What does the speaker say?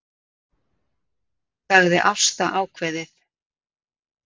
sagði Ásta ákveðið.